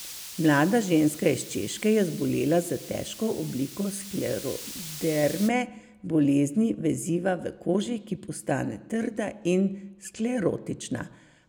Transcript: Mlada ženska iz Češke je zbolela za težko obliko skleroderme, bolezni veziva v koži, ki postane trda in sklerotična.